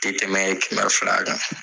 fil'a kan